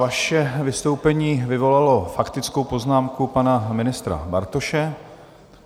Vaše vystoupení vyvolalo faktickou poznámku pana ministra Bartoše.